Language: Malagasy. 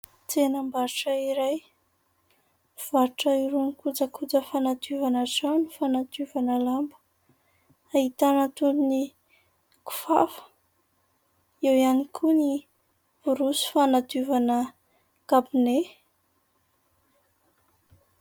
Tsenam-barotra iray. Mivarotra irony kojakoja fanadiovana trano, fanadiovana lamba. Ahitana toy ny kifafa, eo ihany koa ny borosy fanadiovana kabone.